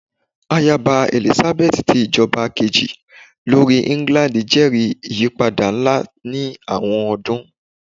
Ayaba Elizabeth ti ijọba keji lori England jẹri iyipada nla ni awọn ọdun